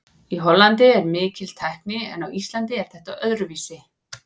Í Hollandi er mikil tækni en á Íslandi er þetta öðruvísi.